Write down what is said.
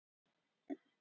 Málið er fyrnt.